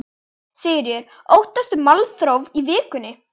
Sigríður: Óttastu málþóf í vikunni?